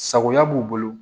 Sagoya b'u bolo